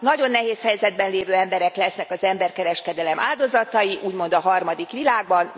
Nagyon nehéz helyzetben lévő emberek lesznek az emberkereskedelem áldozatai, úgymond a harmadik világban.